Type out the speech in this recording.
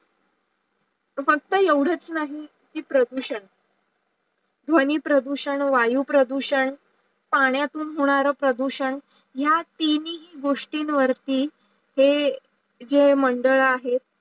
फक्त येवडाच नाही की प्रदूषण ध्वनि प्रदूषण, वायु प्रदूषण, पाण्यातून होणारा प्रदूषण या तीन ही गोष्टीन वरती हे हे मंडळ आहेत.